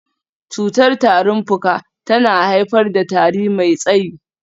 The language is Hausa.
Cutar tarin fuka tana haifar da tari mai tsayi.